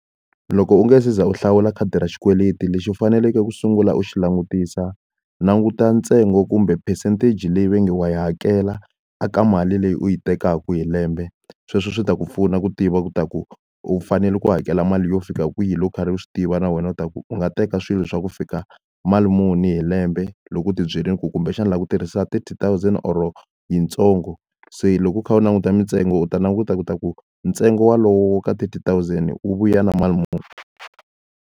Loko u nge se za u hlawula khadi ra xikweleti lexi u faneleke ku sungula u xi langutisa, languta ntsengo kumbe percentage leyi va nge wa yi hakela a ka mali leyi u yi tekaka hi lembe. Sweswo swi ta ku pfuna ku tiva leswaku u fanele ku hakela mali yo fika kwihi loko u karhi u swi tiva na wena leswaku u nga teka swilo swa ku fika mali muni hi lembe, loko u tibyele ku kumbexana u lava ku tirhisiwa thirty thousand or yitsongo. Se loko u kha u languta mintsengo u ta languta leswaku ntsengo walowo wo ka thirty thousand wu vuya na mali muni.